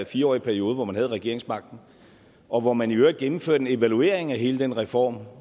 fire årige periode hvor man havde regeringsmagten og hvor man i øvrigt gennemførte en evaluering af hele den reform